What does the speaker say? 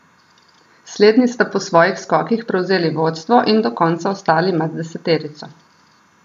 Slednji sta po svojih skokih prevzeli vodstvo in do konca ostali med deseterico.